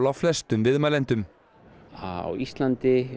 á flestum viðmælendum á Íslandi